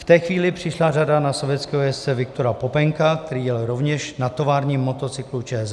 V té chvíli přišla řada na sovětského jezdce Viktora Popenka, který jel rovněž na továrním motocyklu ČZ.